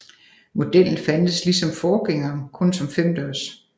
Modellen fandtes ligesom forgængeren kun som femdørs